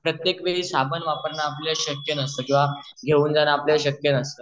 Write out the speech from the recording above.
प्रत्येक वेळी साबण वापरणे आपले शक्य नसते किंवा घेऊन जाण आपले शक्य नसते